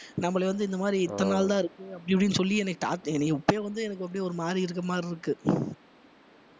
நம்மளை வந்து இந்த மாதிரி இத்தனை நாள் தான் இருக்கு அப்படி இப்படின்னு சொல்லி என்னைய டா~ என்னைய இப்பயே வந்து எனக்கு அப்படியே ஒரு மாதிரி இருக்கிற மாதிரி இருக்கு